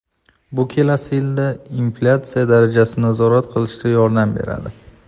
Bu kelasi yilda inflyatsiya darajasini nazorat qilishda yordam beradi.